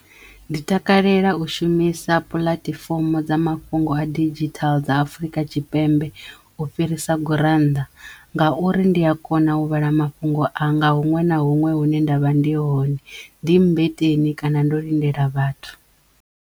Ndi takalela u shumisa puḽatifomo dza mafhungo a didzhithaḽa dza Afrika Tshipembe u fhirisa gurannḓa ngauri ndi ya kona u vhala mafhungo anga huṅwe na huṅwe hune ndavha ndi hone ndi mmbeteni kana ndo lindela vhathu.